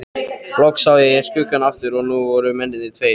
Loks sá ég skuggann aftur og nú voru mennirnir tveir.